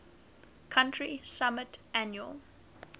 country submit annual